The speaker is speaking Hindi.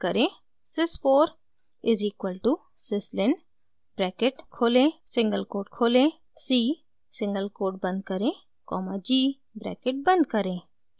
sys 4 is equal to syslin bracket खोलें सिंगल कोट खोलें c सिंगल कोट बंद करें कॉमा g ब्रैकेट बंद करें